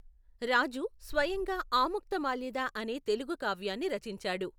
రాజు స్వయంగా ఆముక్తమాల్యద అనే తెలుగు కావ్యాన్ని రచించాడు.